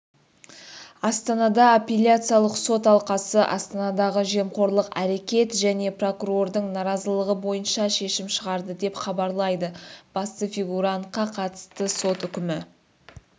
астанада аппеляциялық сот алқасы астана ндағы жемқорлық әрекет және прокурордың наразылығы бойынша шешім шығарды деп хабарлайды басты фигурантқа қатысты сот үкімін